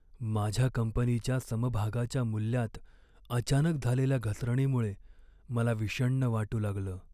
माझ्या कंपनीच्या समभागाच्या मूल्यात अचानक झालेल्या घसरणीमुळे मला विषण्ण वाटू लागलं.